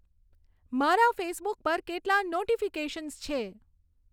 મારા ફેસબુક પર કેટલાં નોટિફિકેશન્સ છે